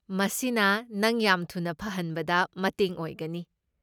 ꯃꯁꯤꯅ ꯅꯪ ꯌꯥꯝ ꯊꯨꯅ ꯐꯍꯟꯕꯗ ꯃꯇꯦꯡ ꯑꯣꯏꯒꯅꯤ꯫